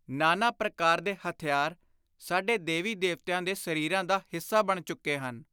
ਨਾਨਾ-ਪ੍ਰਕਾਰ ਦੇ ਹਥਿਆਰ ਸਾਡੇ ਦੇਵੀ-ਦੇਵਤਿਆਂ ਦੇ ਸਰੀਰਾਂ ਦਾ ਹਿੱਸਾ ਬਣ ਚੁੱਕੇ ਹਨ।